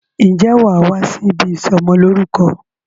Ǹjẹ́ wàá wá sí ibi ìsọmọ lórúkọ